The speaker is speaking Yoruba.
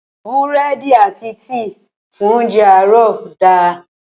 Búrẹ́dì àti tíì fún óńjẹ àárọ̀ da.